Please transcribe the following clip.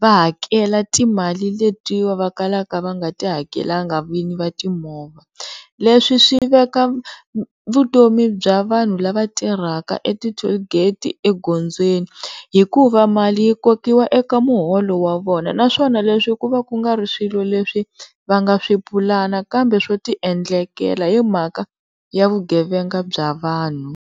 va hakela timali letiya va kalaka va nga tihakelangi vinyi va timovha. Leswi swi veka vutomi bya vanhu lava tirhaka eti-toll gate ekhombyeni hikuva mali yi kokiwa eka muholo wa vona, naswona leswi ku va ku nga ri swilo leswi va nga lo swipulani kambe swo tiendlekela himhaka ya vugevenga bya vanhu.